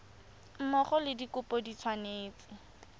mmogo le dikopo di tshwanetse